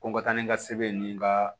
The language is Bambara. Ko n ka taa ni n ka sɛbɛn ye ni n ka